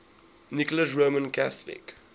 nicholas roman catholic